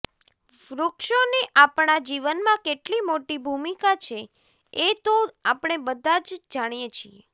વૃક્ષોની આપણા જીવનમાં કેટલી મોટી ભૂમિકા છે એ તો આપણે બધાં જ જાણીએ છીએ